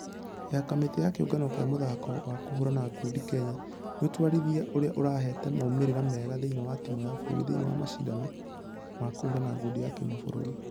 .....ya kamĩtĩ ya kĩũngano gĩa mũthako wa kũhũrana ngundi kenya nĩ ũtwarithia ũrĩa ũrehete maumerera mega thĩinĩ wa timũ ya bũrũri thĩinĩ wa mashidano ma kũhũrana ngundi ya kĩmabũrũri.